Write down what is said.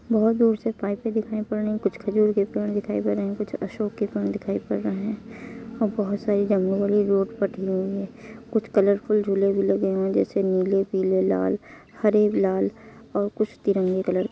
बोहत दूर से पाइपे दिखाई पड़ रही हैं। कुछ खजूर के पेड़ दिखाई पढ़ रहे हैं। कुछ अशोक के दिखाई पड़ रहे हैं और बोहोत सारी हुई हैं कुछ कलरफुल झूले भी लगे हुए हैं जैसे नील पीले लाल हरे गुलाल और तिरंगे कलर --